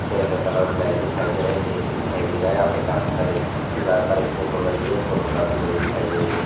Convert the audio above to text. Chair का colour black दिखाई दे रहा है एक ए.सी. दिखाई दे रहा यहा पर काफी सारे दीवार पर एक फ़ोटो लगी हुई है फ़ोटो काफी बड़ी दिखाई दे रही है।